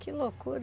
Que loucura.